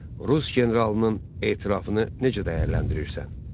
Rus generalının etirafını necə dəyərləndirirsən?